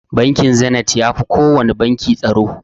Bankin Zeniz yafi kowana banki tsaro.